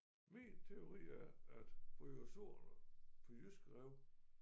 Min teori er at bryozoerne på jyske rev